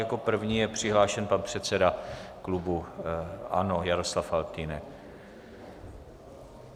Jako první je přihlášen pan předseda klubu ANO Jaroslav Faltýnek.